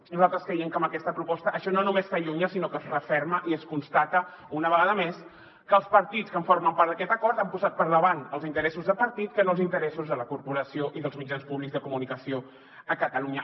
nosaltres creiem que amb aquesta proposta això no només s’allunya sinó que es referma i es constata una vegada més que els partits que formen part d’aquest acord han posat per davant els interessos de partit que no els interessos de la corporació i dels mitjans públics de comunicació a catalunya